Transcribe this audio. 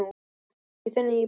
Bjóst í þinni íbúð.